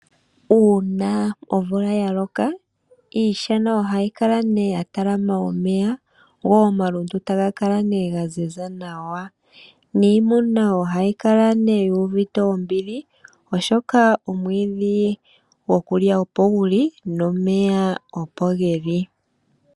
Uuna omvula ya loka iishana ohayi kala nee ya talama omeya go omalundu taga kala nee ga ziza nawa. Niimuna ohayi kala nee yu uvite ombili oshoka omwiidhi gwokulya opo guli nomeya opo geli.